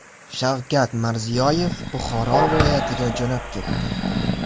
Shavkat Mirziyoyev Buxoro viloyatiga jo‘nab ketdi.